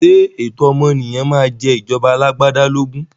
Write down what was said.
Ṣé ẹ̀tọ́ ọmọnìyàn máa jẹ ìjọba alagbada lógún?